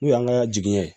N'u y'an ka jigiɲɛ